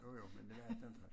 Jo jo men det var 18 13